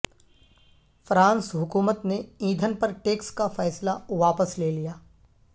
France حکومت نے ایندھن پر ٹیکس کا فیصلہ واپس لے لیا